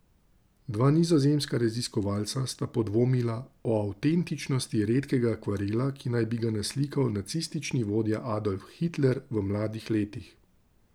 Dva nizozemska raziskovalca sta podvomila o avtentičnosti redkega akvarela, ki naj bi ga naslikal nacistični vodja Adolf Hitler v mladih letih.